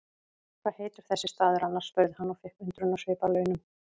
Hvað heitir þessi staður annars? spurði hann og fékk undrunarsvip að launum.